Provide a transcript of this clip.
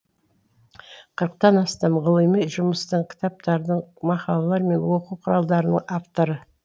қырықтан астам ғылыми жұмыстың кітаптардың мақалалар мен оқу құралдарының авторы